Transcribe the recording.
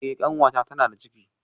Eh kanwata tana da ciki